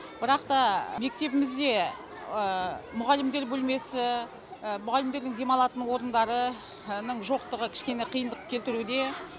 бірақ та мектебімізде мұғалімдер бөлмесі мұғалімдердің демалатын орындары жоқтығы кішкене қиындық келтіруде